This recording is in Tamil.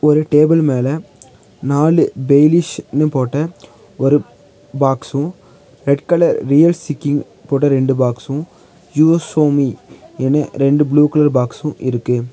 ஒரு டேபிள் மேல நாலு டெய்லிஷிப்னு போட்ட ஒரு பாக்ஸு ரெட் கலர் ரியல் சிக்கிங் போட்ட ரெண்டு பாக்ஸு யூஷோமி யினு இரண்டு புளூ கலர் பாக்ஸு இருக்கு.